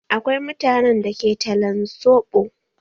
Akwai mutanen da ke talan soɓo.